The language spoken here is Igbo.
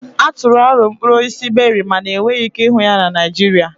A tụrụ aro mkpụrụ osisi Beri mana enweghị ike ịhụ ya na Naịjirịa